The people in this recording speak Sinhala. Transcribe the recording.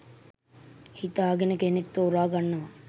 හිතා ගෙන කෙනෙක් ‍තෝරා ගන්නවා.